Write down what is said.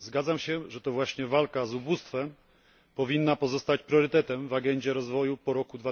Zgadzam się, że to właśnie walka z ubóstwem powinna pozostać priorytetem w agendzie rozwoju po roku